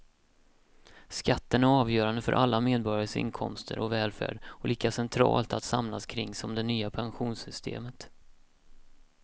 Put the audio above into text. Skatten är avgörande för alla medborgares inkomster och välfärd och lika centralt att samlas kring som det nya pensionssystemet.